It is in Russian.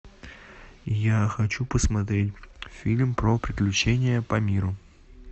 я хочу посмотреть фильм про приключения по миру